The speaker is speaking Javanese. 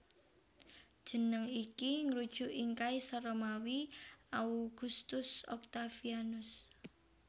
Jeneng iki ngrujuk ing kaisar Romawi Augustus Octavianus